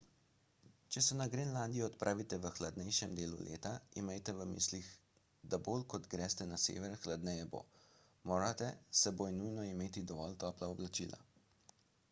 če se na grenlandijo odpravite v hladnejšem delu leta imejte v mislih da bolj kot greste na sever hladneje bo morate s seboj nujno imeti dovolj topla oblačila